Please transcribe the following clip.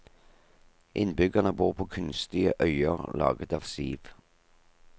Innbyggerne bor på kunstige øyer laget av siv.